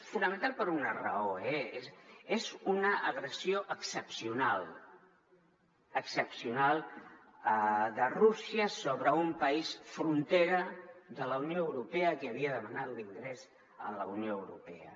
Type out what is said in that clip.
fonamentalment per una raó eh és una agressió excepcional excepcional de rússia sobre un país frontera de la unió europea que havia demanat l’ingrés a la unió europea